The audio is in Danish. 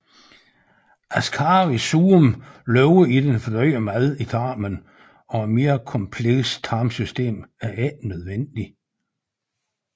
Ascaris suum lever i den fordøjede mad i tarmen og et mere komplekst tarmsystem er ikke nødvendigt